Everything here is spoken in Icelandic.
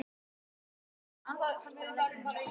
Við vorum aldrei partur af leiknum.